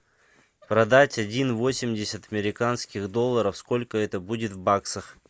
продать один восемьдесят американских долларов сколько это будет в баксах